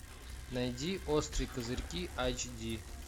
найди острые козырьки айч ди